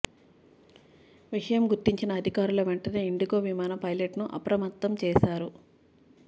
విషయం గుర్తించిన అధికారులు వెంటనే ఇండిగో విమాన పైలెట్ను అప్రమత్తం చేశారు